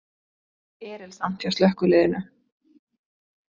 Erilsamt hjá slökkviliðinu